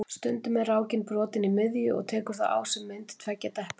Stundum er rákin brotin í miðju og tekur þá á sig mynd tveggja depla.